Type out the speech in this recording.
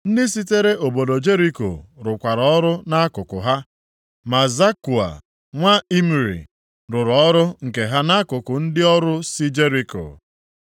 Ndị sitere obodo Jeriko rụkwara ọrụ nʼakụkụ ha. Ma Zakua nwa Imri, rụrụ ọrụ nke ha nʼakụkụ ndị ọrụ si Jeriko.